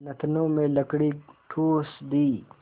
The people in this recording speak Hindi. नथनों में लकड़ी ठूँस दी